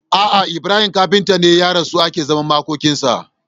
Ah ah Ibrahim kafinta ne ya rasu ake zaman makokin sa